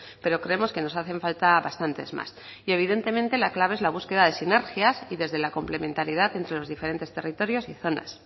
pero creemos que nos hacen falta bastantes más evidentemente la clave es la búsqueda de sinergias y desde la complementariedad entre los diferentes territorios y zonas